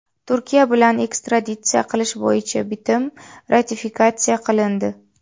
Turkiya bilan ekstraditsiya qilish bo‘yicha bitim ratifikatsiya qilindi.